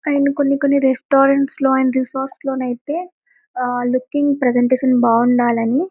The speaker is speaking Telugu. అండ్ కొన్ని కొన్ని రెస్టారెంట్ లో అండ్ రిసార్ట్స్ లో అయితే లుకింగ్ ప్రేసెంటీషన్ బాగా ఉండాలి అని--